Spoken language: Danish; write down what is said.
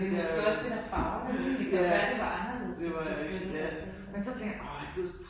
Måske også det der farver det lidt. Det kan jo være det var anderledes hvis du flyttede dertil nu